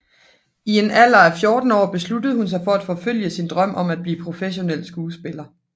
I en alder af 14 år besluttede hun sig for at forfølge sin drøm om at blive professionel skuespiller